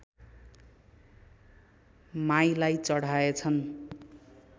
माईलाई चढाएछन्